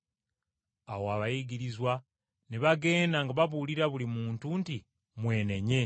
Awo abayigirizwa ne bagenda nga babuulira buli muntu nti, “Mwenenye.”